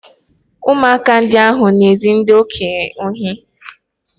Ụmụaka ndị ahụ na-ezu ndị okenye ohi